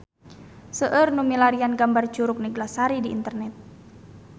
Seueur nu milarian gambar Curug Neglasari di internet